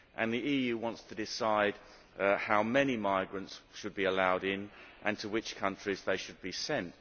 The EU wants to decide how many migrants should be allowed in and to which countries they should be sent.